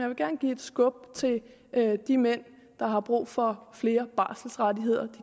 vil gerne give et skub til de mænd der har brug for flere barselrettigheder de